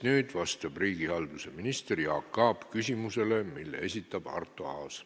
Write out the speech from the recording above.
Nüüd vastab riigihalduse minister Jaak Aab küsimusele, mille esitab Arto Aas.